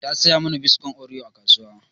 Ta saya mana biskon oreo a kasuwa